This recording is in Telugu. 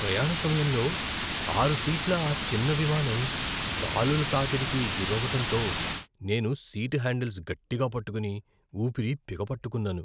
ప్రయాణ సమయంలో ఆరు సీట్ల ఆ చిన్న విమానం గాలుల తాకిడికి గురవ్వటంతో నేను సీట్ హ్యాండిల్స్ గట్టిగా పట్టుకుని ఊపిరి బిగపట్టుకున్నాను.